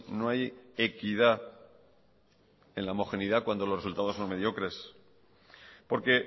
no hay equidad en la homogeneidad cuando los resultados son mediocres porque